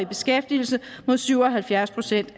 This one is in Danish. beskæftigelse mod syv og halvfjerds procent